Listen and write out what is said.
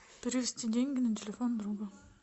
перевести деньги на телефон друга